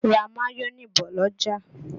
Ra mayonẹ bọ̀ l'ọ́jà!